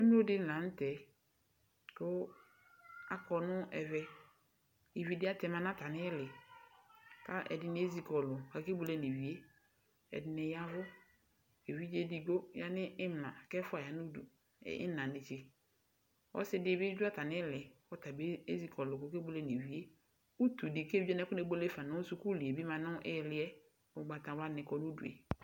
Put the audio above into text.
Emlo dɩnɩ la nʋtɛ kʋ akɔ nʋ ɛvɛ Ivi dɩ atɛma nʋ atami ili, kʋ ɛdɩnɩ ezikɔlʋ kʋ akebuele nʋ ivi yɛ Ɛdɩnɩ yavʋ Evidze edigbo ya nʋ imla, kʋ ɛfʋa ya nʋ udu nʋ ina netse Ɔsɩ dɩ bɩ dʋ atami ili, kʋ ɔtabɩ ezikɔlʋ kʋ okebuele nʋ ivi yɛ Utu dɩ kʋ evidze wani akonebuele fa nʋ suku dɩ bɩ ma nʋ ili yɛ Ugbatawla nɩ kɔ nʋ udu